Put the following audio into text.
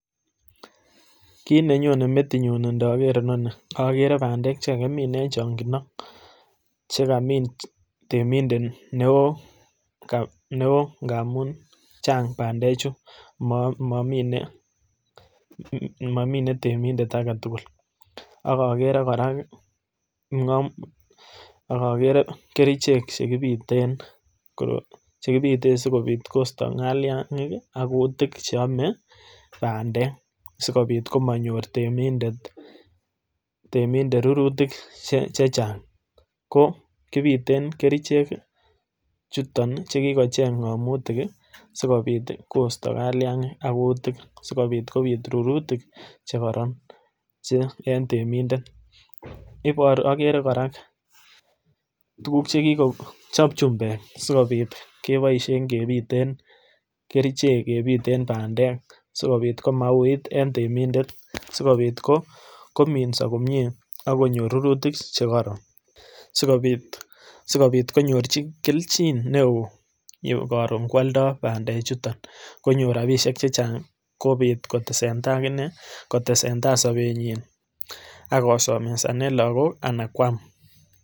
Kit nenyone metinyun ntoker inonii ogere bandek chekakimin en chongindo chekamin temindet neoo ngamun chang bandechu momii monime temindet agetugul ak ogere koraa ogogere kerichek chekipiten sokopit kosto kaliangik ak kutik cheome bandek sikopit komonyor temidet rurutik chechang. Ko piten kerichek chuton chekikocheng ngomutik sikopit kaliangik ak kutik sikopit rurutik chekoron che en temindet iboru, ak ogere koraa tugug chekikochob chumbek sikopit keboishen kepiten kerichek bandek sikopit komauit en temindet sikopit kominso komie ak konyor rurutik chegoron sikopit konyor kelchin neoo koron kwoldo bande chuton konyor rabishe chechang kopit kotesentai sopenyin ak kosomessanen lakok ana kwam